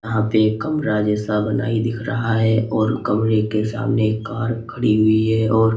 यहां पे एक कमरा जैसा बनाई दिख रहा है और कमरे के सामने एक कार खड़ी हुई है और--